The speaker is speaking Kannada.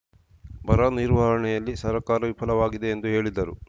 ಬರ ನಿರ್ವಹಣೆಯಲ್ಲಿ ಸರಕಾರ ವಿಫಲವಾಗಿದೆ ಎಂದು ಹೇಳಿದರು